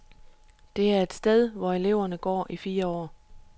Det er et sted, hvor eleverne går i fire år.